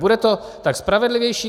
Bude to tak spravedlivější.